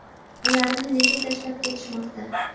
ularni nega tashlab ketishmoqda?